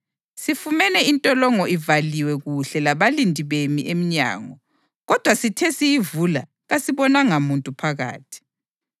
“Sifumane intolongo ivalwe kuhle labalindi bemi eminyango; kodwa sithe siyivula kasibonanga muntu phakathi.”